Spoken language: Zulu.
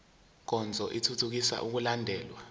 nkonzo ithuthukisa ukulandelwa